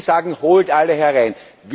Sie sagen, holt alle herein.